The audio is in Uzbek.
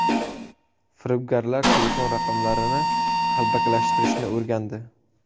Firibgarlar telefon raqamlarini qalbakilashtirishni o‘rgandi.